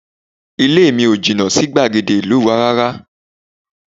Ilé mi ò jìnnà sí gbàgede ìlú wa rárá